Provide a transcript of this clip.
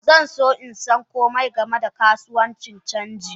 Zanso insan komai game da kasuwan canji.